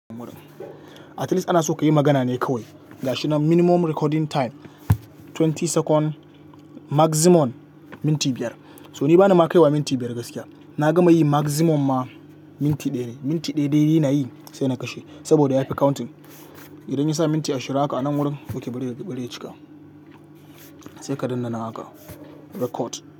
Akalla ana so ka yi magana ne kawai. Ga shi mafi karancin rikodi, sakan ashirin mafi yawa, minti biyar. To ni bana ma kai wa minti biyar gaskiya. Na gama yi mafi yawa ma minti ɗaya ne. Minti ɗaya dai na yi sai na kashe saboda ya fi kirga idan ya sa minti ashirin haka a nan wurin, oke bari ya cika. Sai ka daina nan haka rikodi.